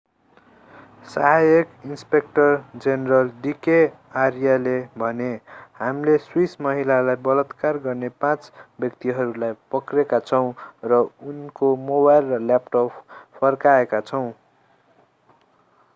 सहायक inspector general d k आर्याले भने हामीले स्विस महिलालाई बलात्कार गर्ने पाँच व्यक्तिहरूलाई पक्रेका छौँ र उनको मोबाइल र ल्यापटप फर्काएका छौँ